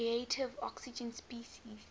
reactive oxygen species